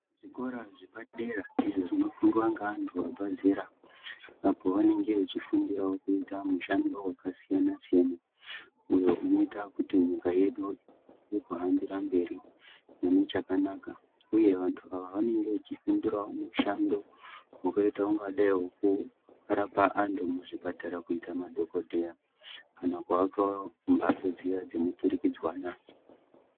Zvikora zvepadera izvo zvinofundwa ngeanhu abve zera apo vanenge vechifundirawo kuite mishando yakasiyanasiyana uyo unoite kuti nyika yedu ihambire mberi mune chakanaka uye vanhu ava vanenge vachifundirawo mushando wakaitakungadai wekurapa anhu muzvipatara kuita madhokodheya kana kuaka mhatso dziya dzinoturikidzwana.